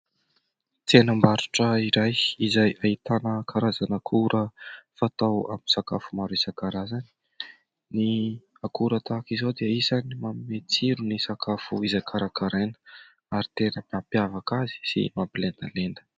Tsenam-barotra iray izay ahitana karazana akora fatao amin'ny sakafo maro isan-karazany. Ny akora tahaka izao dia isan'ny manome tsiro ny sakafo izay karakaraina, ary tena mampiavaka azy sy mampilendalenda.